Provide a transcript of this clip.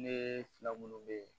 Ne fila minnu bɛ